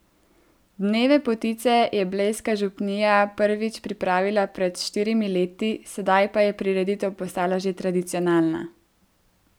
Dneve potice je blejska župnija prvič pripravila pred štirimi leti, sedaj pa je prireditev postala že tradicionalna.